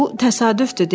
Bu təsadüfdür,